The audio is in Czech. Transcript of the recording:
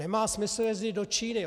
Nemá smysl jezdit do Číny.